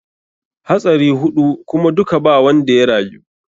Hatsari huɗu kuma duka ba wanda ya rayu.